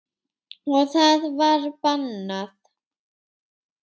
Og það var bannað.